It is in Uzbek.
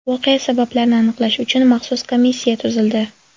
Voqea sabablarini aniqlash uchun maxsus komissiya tuzildi.